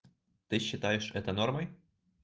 ты считаешь это нормой